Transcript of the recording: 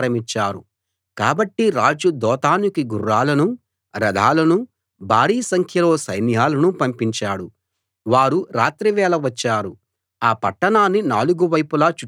కాబట్టి రాజు దోతానుకి గుర్రాలనూ రథాలనూ భారీ సంఖ్యలో సైన్యాలనూ పంపించాడు వారు రాత్రి వేళ వచ్చారు ఆ పట్టణాన్ని నాలుగు వైపులా చుట్టుముట్టారు